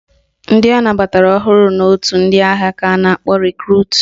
Ndị anabatara ọhụrụ n' otu ndị agha ka a na-akpọ Rekrut.